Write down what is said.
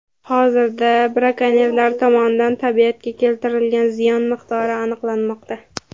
Hozirda brakonyerlar tomonidan tabiatga keltirilgan ziyon miqdori aniqlanmoqda.